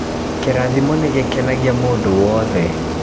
kĩrathimo nĩ gĩkenagia mũndũ wothe